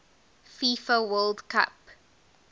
fifa world cup